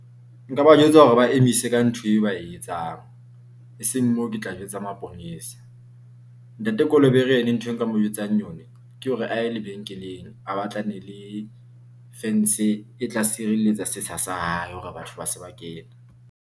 Nka ba jwetsa hore ba emise ka ntho e ba e etsang, e seng moo. Ke tla jwetsa maponesa Ntate Kolobere ene nthwe nka mo jwetsang yona ke hore a ye lebenkeleng, a batlane le fence e tla sireletsa sethsa sa hae hore batho ba se ba kena.